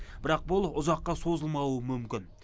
бірақ бұл ұзаққа созылмауы мүмкін